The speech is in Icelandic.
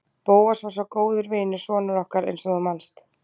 Bóas var svo góður vinur sonar okkar eins og þú manst.